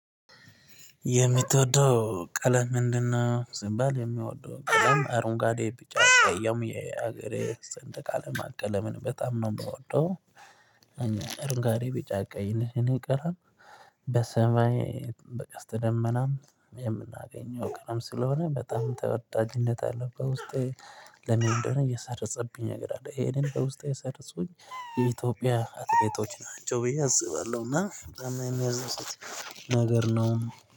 የምትወደው ቀለም ምንድነው? ስባል የምትወደው ቀለም አሮንጋዴ ቢጫ ቀይ የሀገሬ ስንደቅ አላማ በጣም ነው የምወደው። እኔ እረንጓዴ ቢጫ ቀይ ቀለም በሰማይ በቀስተ ደመናም የምናገኘው ቀለም ስለሆነ በጣም ተወዳጅነት አለው በውስጤ ለመንደረ እየሰረጸብኝ ነገር አለ። ይሄንን በውስጤ የሰረጹኝ የኢትዮጵያ አትሌቶች ናቸው ብዬ አስባለሁ። እና የምያስደስት ነገር ነው